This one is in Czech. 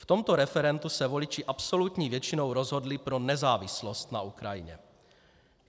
V tomto referendu se voliči absolutní většinou rozhodli pro nezávislost na Ukrajině.